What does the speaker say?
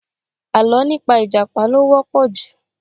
Àlọ́ nípa ìjàpá ló wọ́pọ̀ ju